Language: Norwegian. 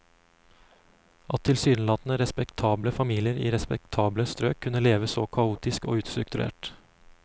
At tilsynelatende respektable familier i respektable strøk kunne leve så kaotisk og ustrukturert.